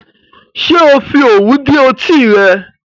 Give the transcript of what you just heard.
Ṣé ò fi òwú dí etí rẹ?